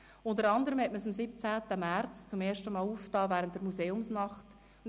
Unter anderem war dieses am 17. März zum ersten Mal während der Museumsnacht geöffnet.